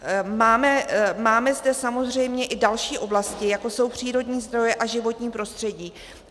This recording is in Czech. Máme zde samozřejmě i další oblasti, jako jsou přírodní zdroje a životní prostředí.